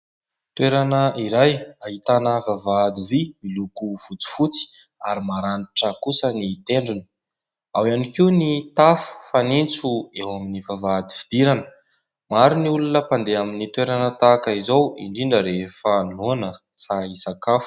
Toerana iray ahitana vavahady vy miloko fotsifotsy ary maranitra kosa ny tendrony, ao ihany koa ny tafo fanitso eo amin'ny vavahady fidirana. Maro ny olona mpandeha amin'ny toerana tahaka izao indrindra rehefa noana te hisakafo.